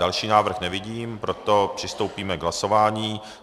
Další návrh nevidím, proto přistoupíme k hlasování.